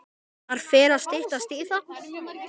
Það fer að styttast í það.